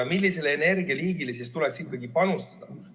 Millisele energialiigile siis tuleks ikkagi panustada?